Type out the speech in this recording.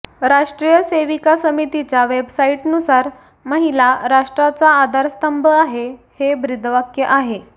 राष्ट्रीय सेविका समितीच्या वेबसाइटनुसार महिला राष्ट्राचा आधारस्तंभ आहे हे ब्रीदवाक्य आहे